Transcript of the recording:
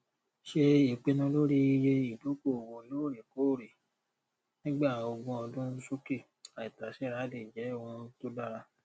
ṣe ìpinnu lórí iye ìdókòòwò lóòrèkóòrè nígbà ogún ọdún sókè àìtàséra lè jẹ ohun tó dára